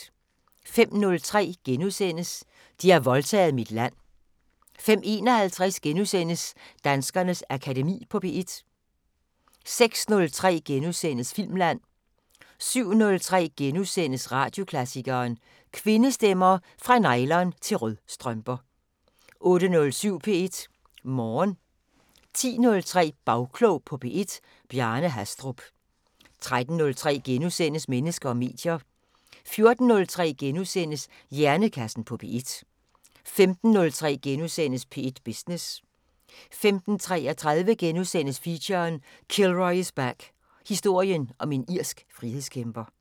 05:03: De har voldtaget mit land * 05:51: Danskernes Akademi på P1 * 06:03: Filmland * 07:03: Radioklassikeren: Kvindestemmer – Fra nylon- til rødstrømper * 08:07: P1 Morgen 10:03: Bagklog på P1: Bjarne Hastrup 13:03: Mennesker og medier * 14:03: Hjernekassen på P1 * 15:03: P1 Business * 15:33: Feature: Kilroy is back – Historien om en irsk frihedskæmper *